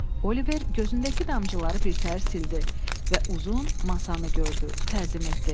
Oliver gözündəki damcıları birtəhər sildi və uzun masanı gördü, təzim etdi.